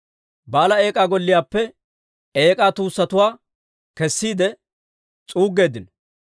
Ba'aala Eek'aa golliyaappe eek'aa tuussatuwaa kessiide s'uuggeeddino.